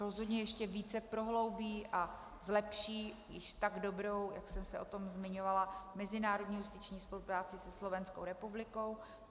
Rozhodně ještě více prohloubí a zlepší již tak dobrou, jak jsem se o tom zmiňovala, mezinárodní justiční spolupráci se Slovenskou republikou.